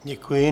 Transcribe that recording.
Děkuji.